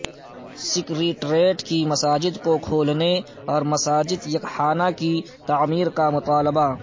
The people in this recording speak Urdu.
سکریٹریٹ کی مساجد کو کھولنے اور مسجد یکحانہ کی تعمیر کا مطالبہ